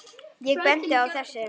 Ég bendi á þessi